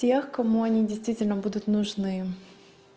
тех кому они действительно будут нужны